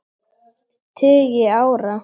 tugi ára.